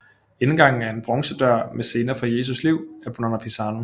Indgangen er en bronzedør med scener fra Jesus liv af Bonanno Pisano